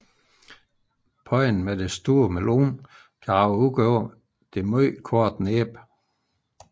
Panden med den store melon kan rage ud over det meget korte næb